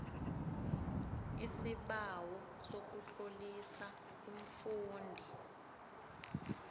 isibawo sokutlolisa umfundi